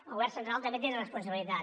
el govern central també en té de responsabilitats